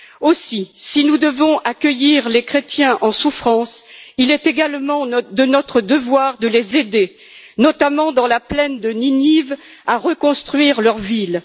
Aussi, si nous devons accueillir les chrétiens en souffrance, il est également de notre devoir de les aider, notamment dans la plaine de Ninive, à reconstruire leur ville.